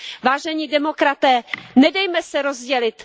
Vážení demokraté, nedejme se rozdělit.